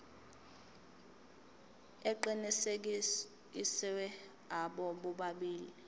aqinisekisiwe abo bobabili